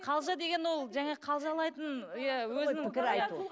қалжа деген ол жаңағы қалжалайтын иә